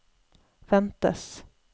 ventes